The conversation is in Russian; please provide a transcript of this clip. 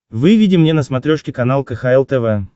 выведи мне на смотрешке канал кхл тв